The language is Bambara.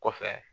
Kɔfɛ